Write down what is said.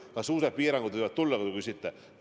Kas suured piirangud võivad tulla, nagu te küsite?